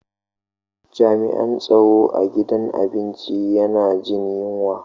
Jami'an tsaro a gidan abinci yana jin yunwa.